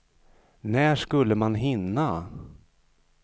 När skulle man hinna?